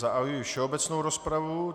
Zahajuji všeobecnou rozpravu.